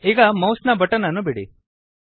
ಈಗ ಮೌಸ್ ನ ಬಟನ್ ಅನ್ನು ಬಿಡಿ